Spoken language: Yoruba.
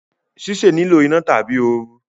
ṣíṣe nilo iná tàbí ooru